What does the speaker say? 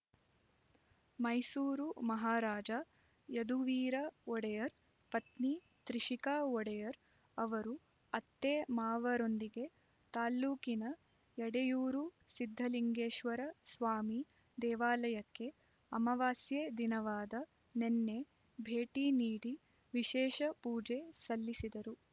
ಮೈಸೂರು ಮಹಾರಾಜ ಯದುವೀರ ಒಡೆಯರ್ ಪತ್ನಿ ತ್ರಿಷಿಕಾ ಒಡೆಯರ್ ಅವರು ಅತ್ತೆ ಮಾವ ರೊಂದಿಗೆ ತಾಲ್ಲೂಕಿನ ಎಡೆಯೂರು ಸಿದ್ಧಲಿಂಗೇಶ್ವರ ಸ್ವಾಮಿ ದೇವಾಲಯಕ್ಕೆ ಅಮವಾಸ್ಯೆ ದಿನವಾದ ನಿನ್ನೆ ಭೇಟಿ ನೀಡಿ ವಿಶೇಷ ಪೂಜೆ ಸಲ್ಲಿಸಿದರು